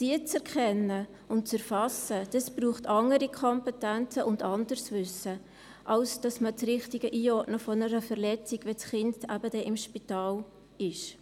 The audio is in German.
Um diese zu erkennen und zu erfassen, braucht es andere Kompetenzen und ein anderes Wissen als die richtige Einordnung einer Verletzung, wenn ein Kind dann eben ins Spital kommt.